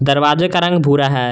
दरवाजे का रंग भूरा है।